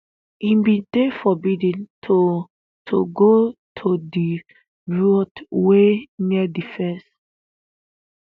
e bin dey forbidden to to go to di route wey near di fence